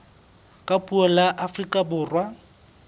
ka puo la afrika borwa